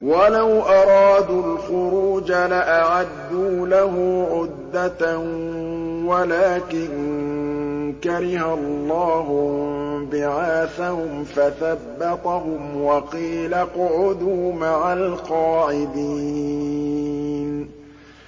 ۞ وَلَوْ أَرَادُوا الْخُرُوجَ لَأَعَدُّوا لَهُ عُدَّةً وَلَٰكِن كَرِهَ اللَّهُ انبِعَاثَهُمْ فَثَبَّطَهُمْ وَقِيلَ اقْعُدُوا مَعَ الْقَاعِدِينَ